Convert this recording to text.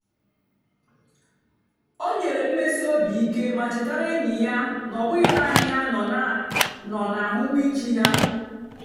o nyèrè mmèsì óbì ìké mà chétàra ényì ya na ọ́ bụ́ghì naanì ha nọ̀ na àhụ́mị̀chè ha.